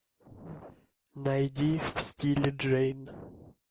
найди в стиле джейн